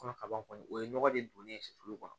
Kɔnɔ kaban kɔni o ye nɔgɔ de don ne ye kɔnɔ